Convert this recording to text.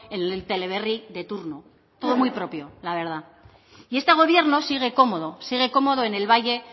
en el teleberri de turno todo muy propio la verdad y este gobierno sigue cómodo sigue cómodo en el valle